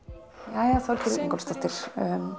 jæja Þorgerður Ingólfsdóttir